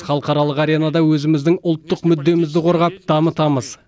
халықаралық аренада өзіміздің ұлттық мүддемізді қорғап дамытамыз